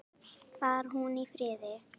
Far hún í friði.